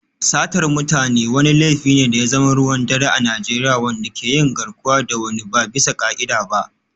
Satar mutane wani laifi ne da ya zama ruwan dare a Najeriya, wanda ke yin garkuwa da wani ba bisa ka'ida ba.